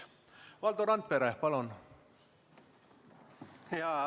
Valdo Randpere, palun!